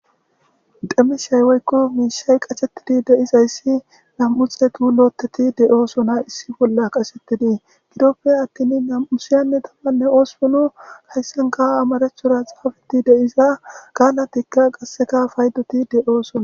Dhemishaywoykko miishay qachettidi deizayssi nam'uxetu lootteti de'oo sona issi bolla qashettidii gidoppe attin nam'usiyanne dambanne oossunu hayssan kawa amarechura xaafeti deiza gaalatikka qasseka faydoti de'oo sona.